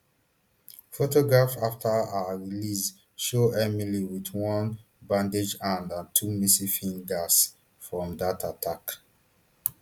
photographs afta her release show emily wit one bandaged hand and two missing fingers from dat attack